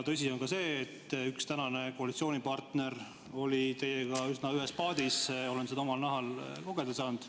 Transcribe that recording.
Tõsi on ka see, et üks tänane koalitsioonipartner oli teiega üsna ühes paadis, olen seda omal nahal kogeda saanud.